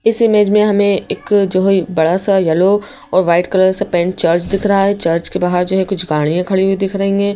इस इमेज मे हमें एक जो है बड़ा सा येलो और व्हाईट कलर सा पेंट चर्च दिख रहा है चर्च के बाहर कुछ गाड़ियां खड़ी हुई दिख रहीं हैं।